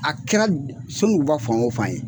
A kɛra Sonduguba fan o fan ye